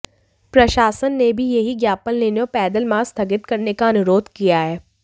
प्रशासन ने भी यहीं ज्ञापन लेने और पैदल मार्च स्थगित करने का अनुरोध किया है